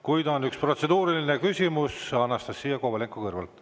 Kuid on üks protseduuriline küsimus, Anastassia Kovalenko-Kõlvart.